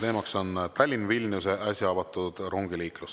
Teema on Tallinna-Vilniuse äsja avatud rongiliiklus.